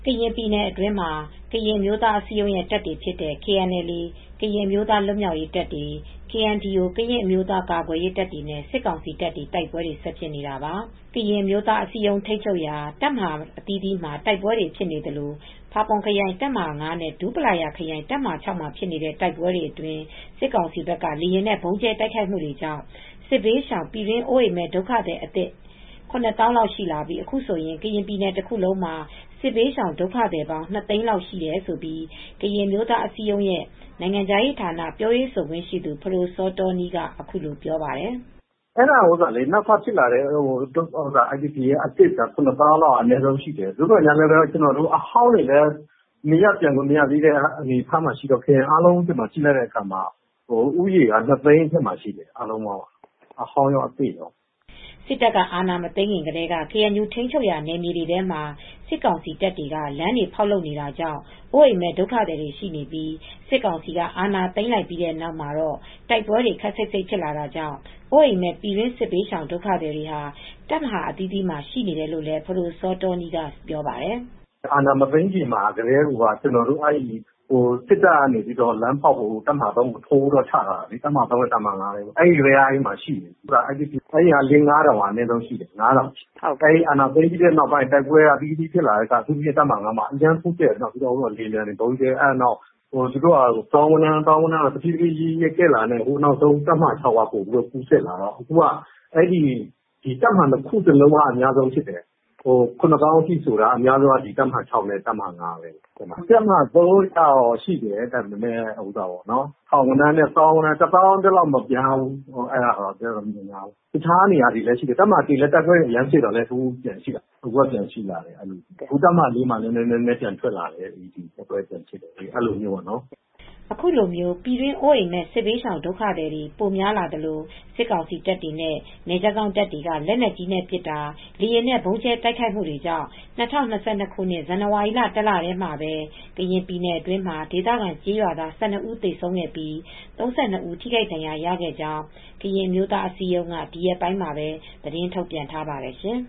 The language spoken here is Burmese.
ကရင်ပြည်နယ်အတွင်းမှာ ကရင်အမျိုးသားအစည်းအရုံးရဲ့တပ်တွေဖြစ်တဲ့ KNLAကရင်အမျိုးသားလွတ်မြောက်ရေးတပ်တွေ KNDO ကရင်အမျိုးသားကာကွယ်ရေးတပ်တွေနဲ့ စစ်ကောင်စီတပ်တွေ တိုက်ပွဲတွေ ဆက်ဖြစ်နေတာပါ။ ကရင်အမျိုးသားအစည်းအရုံး ထိမ်းချုပ်ရာ တပ်မဟာအသီးသီးမှာ တိုက်ပွဲတွေဖြစ်နေသလို ဖာပွန်ခရိုင်တပ်မဟာ နဲ့ ဒူးပလာယာခရိုင်တပ်မဟာ မှာ ဖြစ်နေတဲ့တိုက်ပွဲတွေ စစ်ကောင်စီဘက်က လေယာဉ်နဲ့ ဗုံးကြဲတိုက်ခိုက်မူတွေကြောင့် စစ်ဘေးရှောင် ပြည်တွင်းအိုးအိမ်မဲ့ဒုက္ခသည်အသစ် ၇သောင်းလောက်ရှိလာပြီး အခုဆိုရင် ကရင်ပြည်နယ် တခုလုံးမှာ စစ်ဘေးရှောင်ဒုက္ခသည်ပေါင်း ၂သိန်းကျော်လာက်ရှိတယ်လို့ ကရင်အမျိုးသားအစည်းအရုံးရဲ့နိုင်ငံခြားရေးဌာနပြောရေးဆိုခွင့်ရှိသူ ဖဒိုစောတောနီး ကအခုလိုပြောပါတယ်။ " အဲဒါကနောက်ထပ်ဖြစ်လာတဲ့ IDP အသစ်က ၇ သောင်းလောက်အနည်းဆုံးရှိတယ်။ နောက်ထပ်အဟောင်းတွေလည်း နေရပ်ပြန်လို့ မရသေးတဲ့ အနေအထားမှာ ရှိတဲ့ ခရိုင်အသီးသီးကို ပြန်ကြည့်လိုက်တဲ့အခါမှာတော့ ဦးရေက ၂သိန်းအထက်မှာရှိတယ် ။ အဟောင်းကော အသစ်ကောပေါ့ " အာဏာမသိမ်းခင်ကတည်းက ကေအန်ယူ ထိမ်းချုပ်ရာ နယ်မြေတွေထဲမှ ာစစ်ကောင်စီတပ်တွေက လမ်းတွေဖောက်လုပ်တာတွေကြောင့် အိုးအိမ်မဲ့ ဒုက္ခသည်တွေရှိနေပြီး စစ်ကောင်စီကအာဏာသိမ်းလိုက်ပြီးတဲ့နောက်မှာတော့ တိုက်ပွဲတွေ ခပ်စိတ်စိတ်ဖြစ်လာတာကြောင့် အိုးအိမ်မဲ့ ပြည်တွင်း စစ်ဘေးရှောင်ဒုက္ခသည်တွေဟာ တပ်မဟာအသီးသီးမှာရှိနေတယ်လို့လည်းဖဒိုစောတောနီးကပြောပါတယ်။ " အာဏာမသိမ်းခင်ကတည်းက စစ်တပ်က လမ်းဖောက်ဖို့အတွက် တပ်မဟာ၃ကို ထိုးဖို့းချထားတာ တပ်မဟာ နဲ့ တပ်မဟာ မှာ ရှိနေတယ် ။ အဲဒီအတွက် IDPက လေးငါးထောင်လောက် အနည်းဆုံးရှိတယ်။ ၅ထောင်လောက်ရှိတယ်။ အာဏာသိမ်းပြီးနောက်ပိုင်းမှာ တိုက်ပွဲက နေရာအသီးသီးမှာဖြစ်လာတယ်။ အထူးသဖြင့် တပ်မဟာ မှာ လေယာဉ်တွေဗုံးကြဲတော့ နောက်တော့ သူတို့ကသောင်းဂဏန်းထိပိုပြီးကြီးလာတယ်။နောက်ဆုံး တပ်မဟာ မှာ ပိုပြီးကူးစက်လာတော့ အခုက တပ်မဟာ ခုကအများဆုံးဖြစ်လာတယ် ။ ၇ သောင်းထိဖြစ်လာတာက အများဆုံးက တပ်မဟာ နဲ့ တပ်မဟာ က ပိုများတယ်။တပ်မဟာ ဖက်မှာလည်း ရှိတယ် ထောင်ဂဏန်း နဲ့ သောင်းဂဏန်းလောက်ထိပဲ သိတ်တော့မများဘူး။တခြားနေရာတွေလည်းရှိတယ်။ တပ်မဟာ လည် းတိုက်ပွဲတွေပြန်ဖြစ်လာတော့ များလာတယ်။တပ်မဟာ လည်းတိုက်ပွဲတွေ နည်းနည်းပြန်ဖြစ်လာတယ်။ အဲတော့ ပြန်ထွက်လာတယ်" အခုပြည်တွင်းအိုးအိမ်မဲ့ စစ်ဘေးရှောင်ဒုက္ခသည်တွေ ပိုများလာသလို စစ်ကောင်စီတပ်တွေ နဲ့ နယ်ခြားစောင့်တပ်တွေက လက်နက်ကြီးနဲ့ပစ်တာ လေယာဉ်နဲ့ ဗုံးကြဲတိုက်ခိုက်မူတွေကြောင့် ၂၀၂၂ ခုနှစ် ဇန်နဝါရီလ တလထဲမှာပဲ ကရင်ပြည်နယ်တွင်းမှာ ဒေသခံကျေးရွာသား ၁၂ဦးသေဆုံးပြီး ၃၂ ဦးထိခိုက်ဒဏ်ရာရခဲ့ကြောင်း ကရင်အမျိုးသားအစည်းအရုံးက ဒီရက်ပိုင်းမှာပဲသတင်းထုတ်ပြန်ထားပါတယ်ရှင်